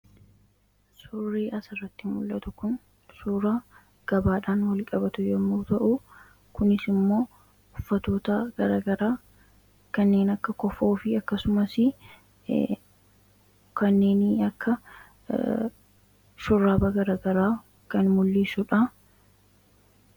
suurii as irratti mul'atu kun suuraa gabaadhaan wal qabatu yommuu ta'u kunis immoo uffatotaa garagaraa kanneen akka kofoo fi akkasumas shuraaba garagaraa kan mul'iissuudha